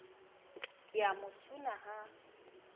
ke a mo suna ha